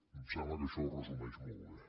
em sembla que això ho resumeix molt bé